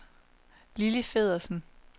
Lilli Feddersen